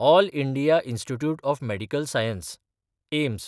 all India Institute of Medical Science (AIIMS)